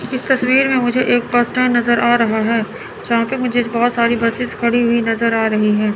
इस तस्वीर में मुझे एक बस स्टैंड नजर आ रहा है जहाँ पे मुझे बहोत सारी बसेस खड़ी हुई नजर आ रही है।